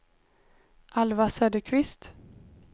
Alva Söderqvist